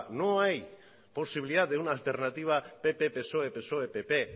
no hay posibilidad de una alternativa pp psoe psoe pp